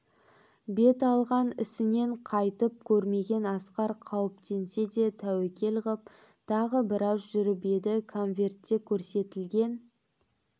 бет алған ісінен қайтып көрмеген асқар қауіптенсе де тәуекел ғып тағы біраз жүріп еді конвертте көрсетілген